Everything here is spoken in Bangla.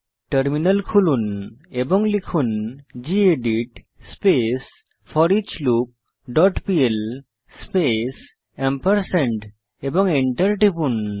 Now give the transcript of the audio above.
টার্মিনাল খুলুন এবং লিখুন গেদিত স্পেস foreachloopপিএল স্পেস এবং Enter টিপুন